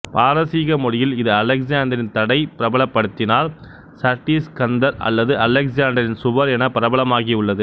பாரசீக மொழியில் இது அலெக்சாந்தரின் தடை பிரபலப்படுத்தினார் சட்இஇஸ்கந்தர் அல்லது அலெக்சாண்டரின் சுவர் என பிரபலமாகியுள்ளது